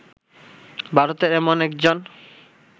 ভারতের এমন একজন